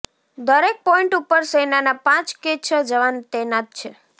દરેક પોઇન્ટ ઉપર સેનાના પાંચ કે છ જવાન તૈનાત છે